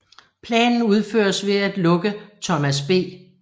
Planen udføres ved at lukke Thomas B